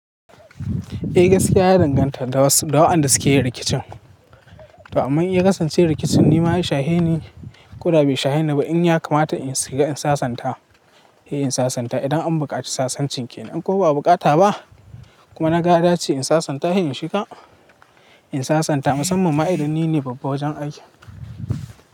Eh gaskiya ya danganta da wasu da waɗanda suke yin rikicin. To amma iya kasancewar rikicin ni ma shahi ne ko da ba shahi ne ba, in ya kamata in shiga in sasanta, eh in sasanta idan an buƙaci sasanci kenan ko ba a bukata ba kuma na ga dace in sasanta, eh in shiga in sasanta musamman ma idan nine babba wajen aiki.